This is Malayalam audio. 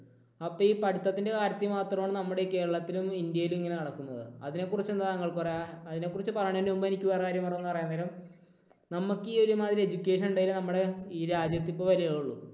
അപ്പോൾ ഈ പഠിത്തത്തിൽ എൻറെ കാര്യത്തിൽ മാത്രമാണ് നമ്മുടെ കേരളത്തിലും ഇന്ത്യയിലും ഇങ്ങനെ നടക്കുന്നത്. അതിനെക്കുറിച്ച് എന്താണ് താങ്കൾക്ക് പറയാ അതിനെക്കുറിച്ച് പറയുന്നതിനു മുമ്പ് എനിക്ക് വേറൊരു കാര്യം എന്ന് പറയാൻ നേരം നമുക്ക് ഈ ഒരുമാതിരി education ഉണ്ടെങ്കിലും നമ്മുടെ ഈ രാജ്യത്ത് ഇത്ര വിലയേയുള്ളു